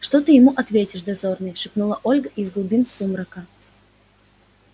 что ты ему ответишь дозорный шепнула ольга из глубин сумрака